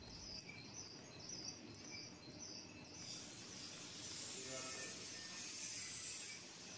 операторы